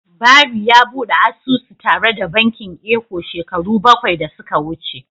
Barry ya bude asusu tare da bankin Eco shekaru bakwai da suka wuce.